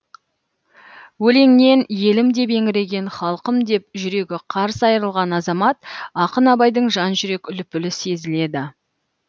өлеңнен елім деп еңіреген халқым деп жүрегі қарс айрылған азамат ақын абайдың жан жүрек лүпілі сезіледі